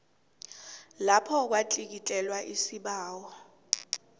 lapho kwatlikitlelwa isibawo